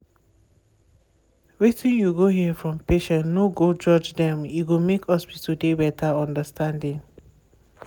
wetin you go hear from patients no go judge dem e go make hospitals dey better understanding.